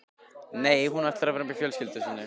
Nei, hún ætlar að vera með fjölskyldu sinni.